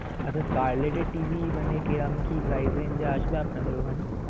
আচ্ছা, collect এ TV মানে কে আমি কি praising আমি কি আসব.